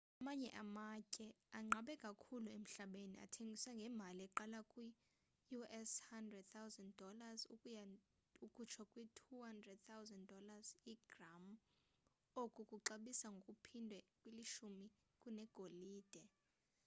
amanye amatye anqabe kakhulu emhlabeni athengiswa ngemali eqala kwi-us$11,000 ukuya kutsho kwi-$22,500 igram oku kuxabisa ngokuphindwe kalishumi kunegolide